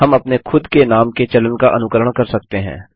हम अपने खुद के नाम के चलन का अनुकरण कर सकते हैं